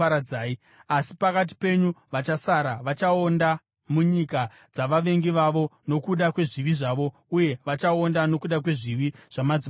Avo pakati penyu vachasara, vachaonda munyika dzavavengi vavo nokuda kwezvivi zvavo; uye vachaonda nokuda kwezvivi zvamadzibaba avo.